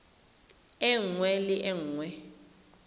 e nngwe le e nngwe